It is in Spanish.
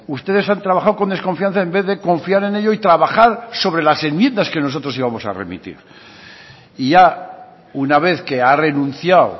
ustedes han trabajado con desconfianza en vez de confiar en ello y trabajar sobre las enmiendas que nosotros íbamos a remitir y ya una vez que ha renunciado